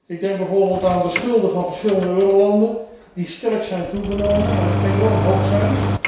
Ik denk bijvoorbeeld aan de schulden van verschillende eurolanden, die sterk zijn toegenomen en enorm hoog zijn.